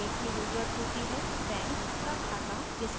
bank का खाता जिसके साथ atm card हो